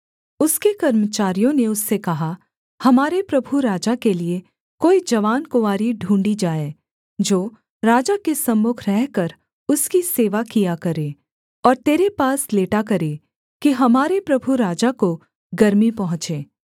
उसके कर्मचारियों ने उससे कहा हमारे प्रभु राजा के लिये कोई जवान कुँवारी ढूँढ़ी जाए जो राजा के सम्मुख रहकर उसकी सेवा किया करे और तेरे पास लेटा करे कि हमारे प्रभु राजा को गर्मी पहुँचे